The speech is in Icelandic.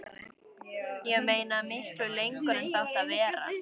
Ég meina, miklu lengur en það átti að vera.